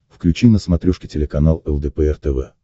включи на смотрешке телеканал лдпр тв